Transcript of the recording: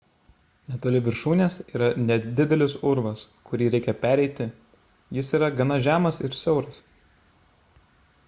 netoli viršūnės yra nedidelis urvas kurį reikia pereiti jis yra gana žemas ir siauras